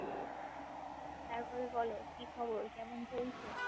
তার পরে বলো কি খবর? কেমন চলছে?